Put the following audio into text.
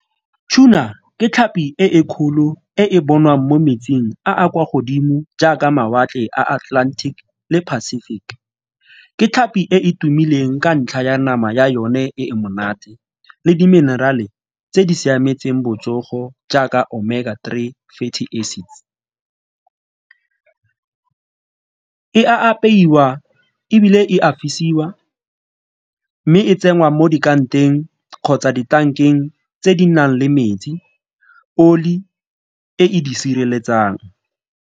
Tuna ke tlhapi e e kgolo e e bonwang mo metsing a a kwa godimo jaaka mawatle a Atlantic le Pacific, ke tlhapi e e tumileng ka ntlha ya nama ya yone e e monate le di-mineral-e tse di siametseng botsogo jaaka Omega three e a apeiwa ebile e a fisiwa mme e tsenngwa mo kgotsa ditankeng tse di nang le metsi, oli e e di sireletsang.